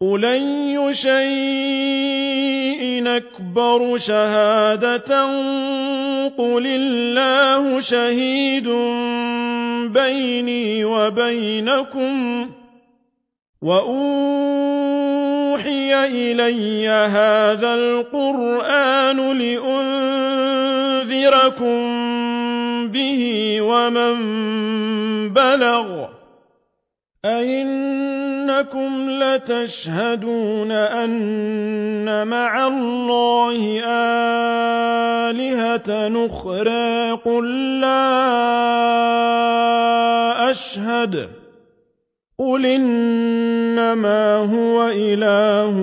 قُلْ أَيُّ شَيْءٍ أَكْبَرُ شَهَادَةً ۖ قُلِ اللَّهُ ۖ شَهِيدٌ بَيْنِي وَبَيْنَكُمْ ۚ وَأُوحِيَ إِلَيَّ هَٰذَا الْقُرْآنُ لِأُنذِرَكُم بِهِ وَمَن بَلَغَ ۚ أَئِنَّكُمْ لَتَشْهَدُونَ أَنَّ مَعَ اللَّهِ آلِهَةً أُخْرَىٰ ۚ قُل لَّا أَشْهَدُ ۚ قُلْ إِنَّمَا هُوَ إِلَٰهٌ